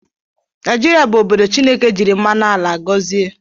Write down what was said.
Naijirịa bụ obodo Chịneke jiri mmanụ ala gọzie